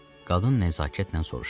Qadın nəzakətlə soruşdu.